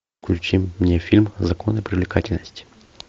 включи мне фильм законы привлекательности